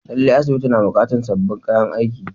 Lallai, asibitin na buƙatar sabbin kayan aiki.